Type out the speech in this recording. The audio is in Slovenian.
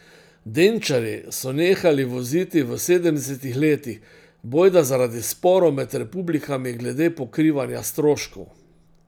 Denčarji so nehali voziti v sedemdesetih letih, bojda zaradi sporov med republikami glede pokrivanja stroškov.